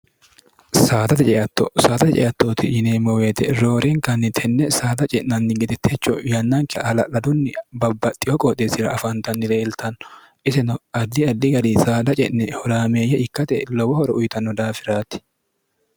saaxate ceatto saaxate ceattooti yineemmoweete roorenkanni tenne saada ce'nanni gede techo yannanke hala'ladunni babbaxxiho qooxeessira afaantanni leeltanno isino addi addi gari saada ce'ne huraameeyye ikkate lowo horo uyitanno daafiraati